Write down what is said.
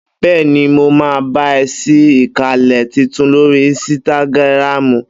Bẹ́ẹ́ni, mo máa bá ẹ sí ìkànnlé titun lórí ínsítágírámú